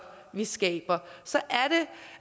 vi skaber så